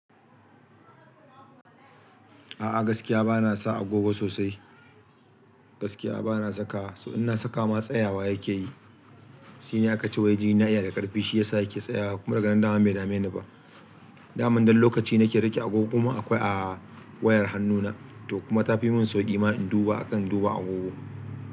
A'a gaskiya bana sa agogo sosai. Gaskiya bana saka su, in na saka ma tsayawa yake yi. Shi ne aka ce wai jini na iya da ƙarfi shi ya sa yake tsayawa kuma daga nan dama bai dame ni ba. Daman dai lokaci nake rage agogo kuma akwai a wayar hannuna to kuma ta fi mun sauƙi ma in duba akan duba agogo.